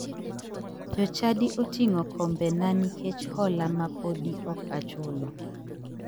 Jochadi oting'o kombena nikech hola ma podi ok achulo.